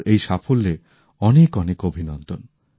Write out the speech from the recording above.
ওঁর এই সাফল্যে অনেক অনেক অভিনন্দন